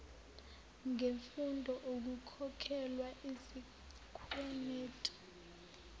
ngemfundo ukukhokhelwa izikwenetu